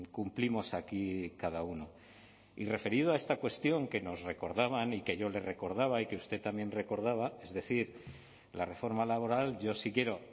cumplimos aquí cada uno y referido a esta cuestión que nos recordaban y que yo le recordaba y que usted también recordaba es decir la reforma laboral yo sí quiero